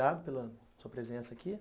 pela sua presença aqui.